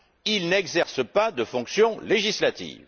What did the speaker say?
Il n'exerce pas de fonctions législatives.